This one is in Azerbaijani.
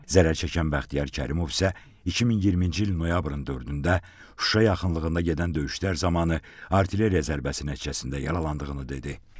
Zərərçəkən Bəxtiyar Kərimov isə 2020-ci il noyabrın 4-də Şuşa yaxınlığında gedən döyüşlər zamanı artilleriya zərbəsi nəticəsində yaralandığını dedi.